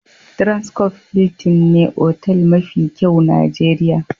Transcof Hiltin ne otal mafi kyau Nijeriya.